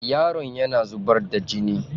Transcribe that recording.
Yaron yana zubar da gini.